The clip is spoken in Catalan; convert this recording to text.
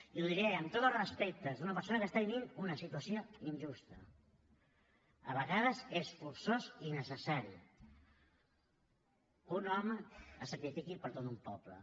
i ho diré amb tots els respectes d’una persona que està vivint una situació injusta a vegades és forçós i necessari que un home se sacrifiqui per tot un poble